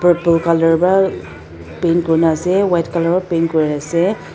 purple colour pra paint kurina ase white colour pa paint kurina ase.